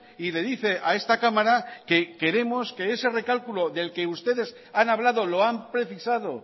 y le dice a esta cámara que queremos que ese recálculo del que ustedes han hablado lo han precisado